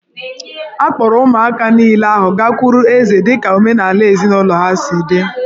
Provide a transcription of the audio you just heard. A kpọọrọ ụmụaka niile ahụ gakwuru eze dị ka omenala ezinụlọ ha si dị